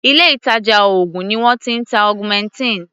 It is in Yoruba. Ilé ìtàjà oògùn ni wọ́n ti ń ta augmentin.